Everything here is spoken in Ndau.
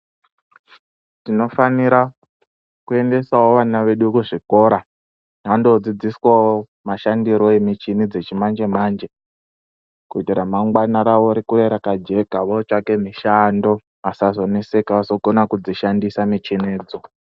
Tinofanira kuendesawo vana vedu kuzvikora vandodzidziswawo mashandiro emichini dzechimanje-manje kuti ramangwani ravo rikure rakajeka votsvake mushando vasazoneseka vakone kudzishandisa michinidzo.